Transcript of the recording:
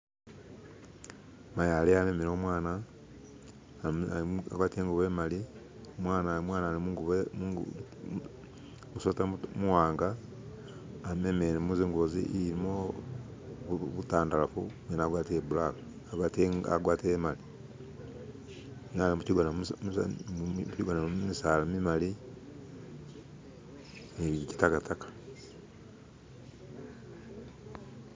Mayi aliwo amemele umwana agwatile ingubo imaali umwana ali mungubo musweta muwanga amemele mu zingubo ilimo butandarafu umwene agwatile bulaka agwatile imali mukyigona mulimo misaala mimali nibyekyitakataka.